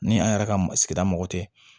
Ni an yɛrɛ ka sigida mɔgɔ tɛ